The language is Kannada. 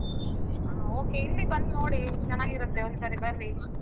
ಹ okay ಇಲ್ಲಿ ಬಂದ್ ನೋಡಿ ಚೆನ್ನಾಗಿರತ್ತೆ ಒಂದ್ ಸರಿ ಬರ್ರಿ.